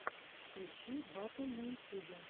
включи батл на ютюбе